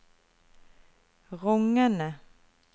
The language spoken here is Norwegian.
rungende